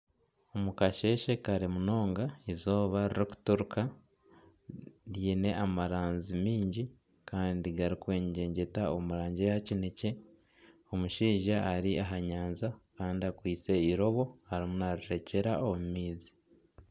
Omukasheeshe kare munonga eizooba ririkuturuka ryine amaranzi maingi kandi garikwengyegyeta omu rangi eya kinekye, omushaija ari aha nyanja kandi akwaitse eirobo arimu narishokyera omu maizi.